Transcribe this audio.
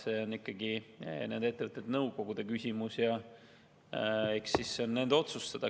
See on ikkagi nende ettevõtete nõukogude küsimus, see on nende otsustada.